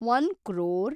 one crore